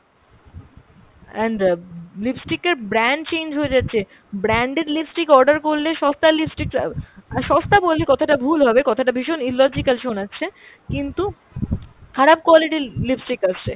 and lipstick এর brand change হয়ে যাচ্ছে, branded lipstick order করলে সস্তার lipstick, আর সস্তা বললে কথাটা ভুল হবে, কথাটা ভীষণ illogical শোনাচ্ছে, কিন্তু খারাপ quality র lipstick আসছে।